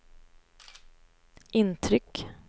intryck